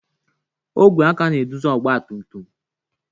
Ogwe aka ga-eduzi ọgba tum tum.